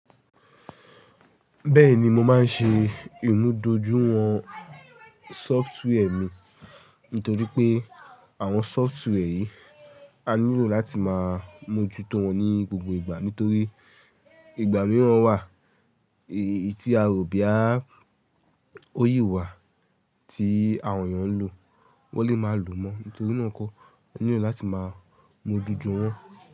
Bẹ́ẹ̀ni mo máa ń ṣe ìmúdójúìwọ̀n sọftíwẹ́ẹ̀ mi nítorí pé àwọn sọftíwẹ́ẹ̀ yìí a nílò láti máa mójú tó wọn ní gbogbo ìgbà. Nítorí ìgbà mìíràn wà tí a ò boya oyi wà tí àwọn èèyàn ń lò, wọ́n lè máa lò mọ́. Nítorí náà kọ́ a nílò láti máa mójú ju wọn.